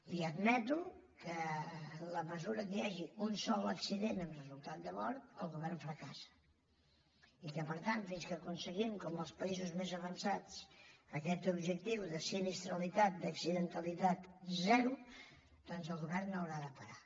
i admeto que en la mesura que hi hagi un sol accident amb resultat de mort el govern fracassa i que per tant fins que aconseguim com els països més avançats aquest objectiu de sinistralitat d’accidentalitat zero doncs el govern no haurà de parar